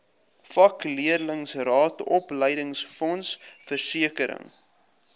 vakleerlingraad opleidingsfonds versekering